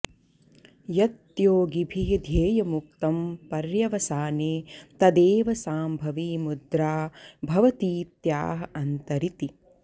यत्योगिभिः ध्येयमुक्तं पर्यवसाने तदेव सांभवी मुद्रा भवतीत्याह अन्तरिति